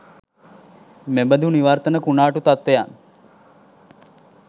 මෙබඳු නිවර්තන කුණාටු තත්ත්වයන්